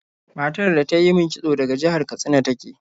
Matar da ta yi min kitso daga jihar Katsina ta ke.